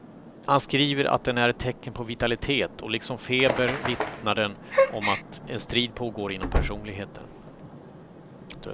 Han skriver att den är ett tecken på vitalitet och liksom feber vittnar den om att en strid pågår inom personligheten.